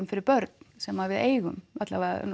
fyrir börn sem við eigum alla vega